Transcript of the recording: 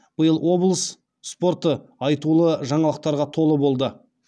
биыл облыс спорты айтулы жаңалықтарға толы болды